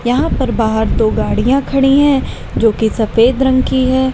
यहां पर बाहर दो गाड़ियां खड़ी हैं जो की सफेद रंग की है।